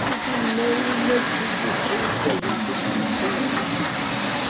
Hoje não, mas tudo feio que a gente não entende, rapaz.